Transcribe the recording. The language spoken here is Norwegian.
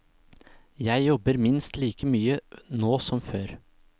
Jeg jobber minst like mye nå som før.